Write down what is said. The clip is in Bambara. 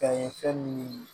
Ka ye fɛn min